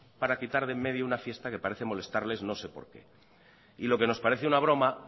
para quitar de en medio una fiesta que parece molestarles no sé por qué y lo que nos parece una broma